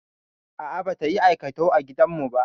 A'a, bata yi aikatau a gidan mu ba.